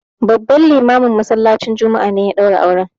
Babban limamin masallacin juma'a ne ya ɗaura auren.